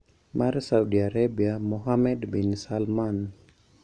Mar Saudi Arabia Mohammed bin Salman